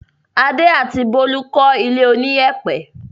Adé àti Bólú kọ́ ilé oníyẹ̀pẹ̀.